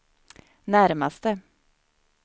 närmaste